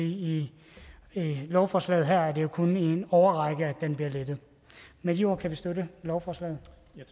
i lovforslaget her er det jo kun i en årrække at den bliver lettet med de ord kan vi støtte lovforslaget